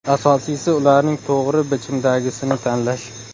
Asosiysi, ularning to‘g‘ri bichimdagisini tanlash.